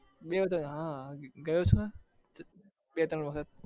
બે ત્રણ હા ગયો છુ ને હા બે ત્રણ વખત